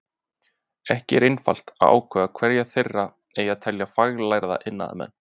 Ekki er einfalt að ákvarða hverja þeirra eigi að telja faglærða iðnaðarmenn.